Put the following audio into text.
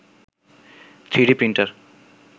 3d printer